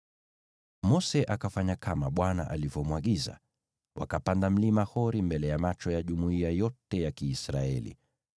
Mose akafanya kama Bwana alivyomwagiza: Wakapanda Mlima Hori mbele ya macho ya jumuiya yote ya Kiisraeli.